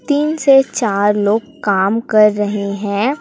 तीन से चार लोग काम कर रहे हैं।